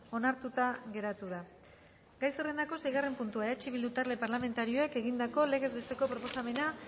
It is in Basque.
onartuta geratu da gai zerrendako seigarren puntua eh bildu talde parlamentarioak egindako legez besteko proposamena